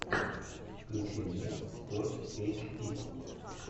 включи мне спортэйчди